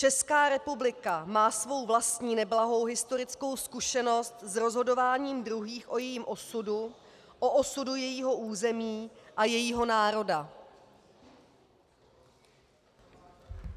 Česká republika má svou vlastní neblahou historickou zkušenost s rozhodováním druhých o jejím osudu, o osudu jejího území a jejího národa.